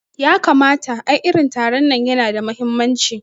Yakamata, ai irin taron nan yana da mahimmanci